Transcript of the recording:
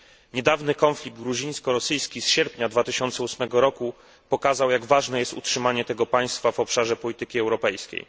Niedawny konflikt gruzińsko rosyjski z sierpnia 2008 roku pokazał jak ważne jest utrzymanie tego państwa w obszarze polityki europejskiej.